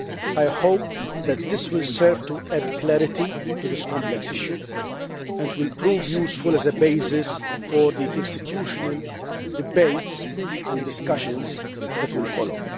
I hope that this will serve to add clarity to this complex issue and will prove useful as a basis for the institutional debates and discussions that will follow.